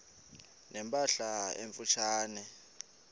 ne mpahla emfutshane